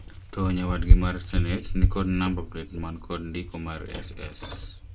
To nyawadgi mar senet ni kod namba plet man kod ndiko mar SS